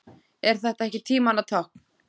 Er þetta ekki tímanna tákn?